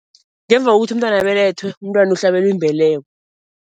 Ngemva kokuthi umntwana abelethwe, umntwana uhlabelwa imbeleko.